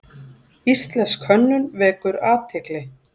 Íslensk hönnun vekur athygli